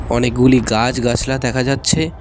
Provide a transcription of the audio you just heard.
অনেকগুলি গাছ গাছলা দেখা যাচ্ছে।